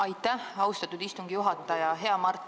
Aitäh, austatud istungi juhataja!